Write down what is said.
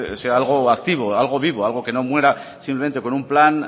sea algo activo algo vivo algo que no muera simplemente con un plan